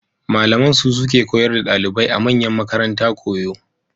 Malaman su suke koyar da ɗalibai a manyan makaranta koyo.